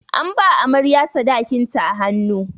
An ba amarya sadakin ta a hannu.